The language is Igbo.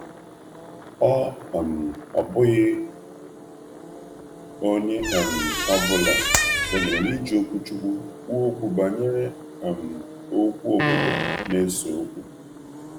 Ọ bụghị onye ọ bụla kwenyere n’iji okwuchukwu kwuo okwu banyere okwu obodo na-ese okwu. um